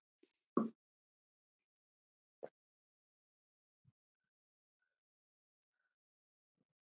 Hver varð fyrir skaða?